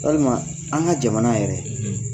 Walima an ŋa jamana yɛrɛ